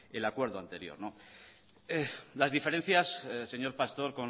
el acuerdo anterior las diferencias señor pastor